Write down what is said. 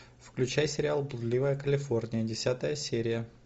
включай сериал блудливая калифорния десятая серия